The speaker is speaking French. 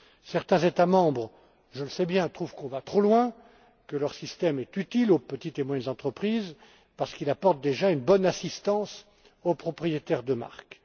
Certains États membres je le sais bien trouvent que l'on va trop loin et que leur système est utile aux petites et moyennes entreprises parce qu'il apporte déjà une bonne assistance aux propriétaires de marques.